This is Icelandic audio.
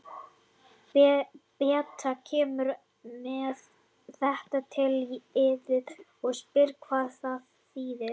Beta kemur með þetta til yðar og spyr hvað það þýðir.